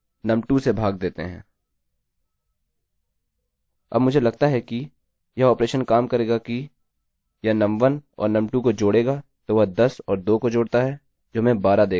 अब मुझे लगता है कि यह ऑपरेशन काम करेगा कि यह num1 और num2 को जोड़ेगा तो वह 10 और 2 को जोड़ता है जो हमें 12 देगा और फ़िर 2 से 12 विभाजित होगा